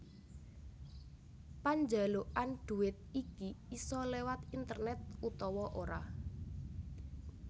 Panjalukan duwit iki isa léwat internet utawa ora